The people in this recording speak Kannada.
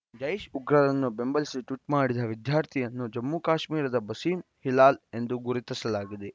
ಜೈಷ್‌ ಉಗ್ರರನ್ನು ಬೆಂಬಲಿಸಿ ಟ್ವೀಟ್‌ ಮಾಡಿದ ವಿದ್ಯಾರ್ಥಿಯನ್ನು ಜಮ್ಮುಕಾಶ್ಮೀರದ ಬಸೀಂ ಹಿಲಾಲ್‌ ಎಂದು ಗುರುತಿಸಲಾಗಿದೆ